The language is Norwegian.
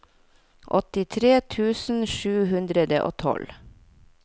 åttitre tusen sju hundre og tolv